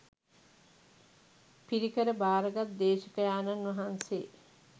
පිරිකර භාරගත් දේශකයාණන් වහන්සේ,